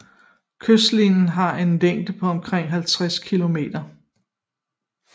Kystlinjen har en længde på omkring 50 kilometer